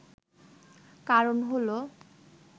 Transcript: কারণ হল